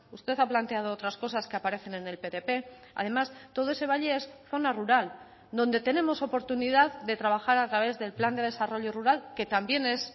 usted ha planteado otras cosas que aparecen en el ptp además todo ese valle es zona rural donde tenemos oportunidad de trabajar a través del plan de desarrollo rural que también es